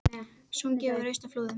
Sungið við raust á Flúðum